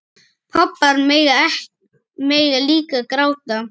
Pabbar mega líka gráta.